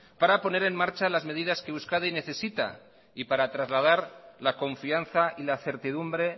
para poner en marcha las medidas que euskadi necesita y para trasladar la confianza y la certidumbre